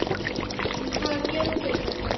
En hvaða gjöld eru þetta?